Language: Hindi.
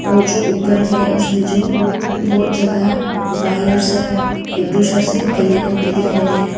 और जो ऊपर है उसमें जो बहुत ज्यादा वायर सब एक दूसरा से कनेक कनेक्ट हो के दिखाई दे रहे हैं।